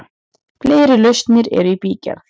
Fleiri lausnir eru í bígerð.